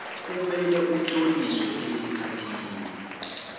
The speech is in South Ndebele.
kumele utloliswe esikhathini